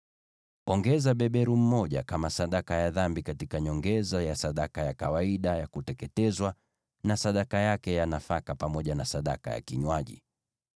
Ongeza beberu mmoja kama sadaka ya dhambi, katika nyongeza ya sadaka ya kawaida ya kuteketezwa, na sadaka yake ya nafaka pamoja na sadaka ya kinywaji.